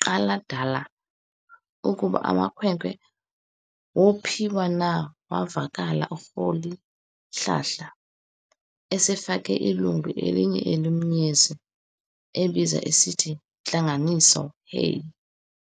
nqadalala ukuba amakhwenkwe wophiwa na, wavakala u"Rholihlahla" esafake ilungu elinye emlonyeni, ebiza esithi, "Ntlanganiso" heyi!